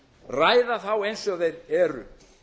ræða þá eins og þeir eru